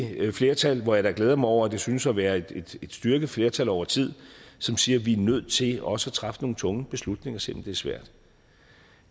flertal hvor jeg da glæder mig over at det synes at være et styrket flertal over tid som siger at vi er nødt til også at træffe nogle tunge beslutninger selv om det svært